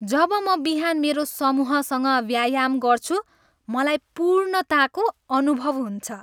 जब म बिहान मेरो समूहसँग व्यायाम गर्छु मलाई पूर्णताको अनुभव हुन्छ।